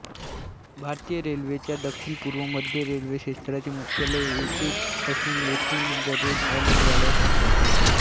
भारतीय रेल्वेच्या दक्षिण पूर्व मध्य रेल्वे क्षेत्राचे मुख्यालय येथेच असून येथून दररोज अनेक गाड्या सुटतात